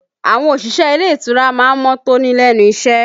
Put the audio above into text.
Àwọn òṣìṣẹ́ ilé ìtura má ń mọ́ tóní lẹ́nu iṣẹ́